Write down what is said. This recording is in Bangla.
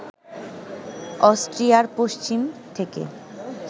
অস্ট্রিয়ার পশ্চিম থেকে